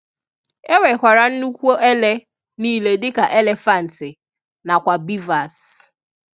E nwekwara nnụkwu ele nile dika elefanti na kwa beavers.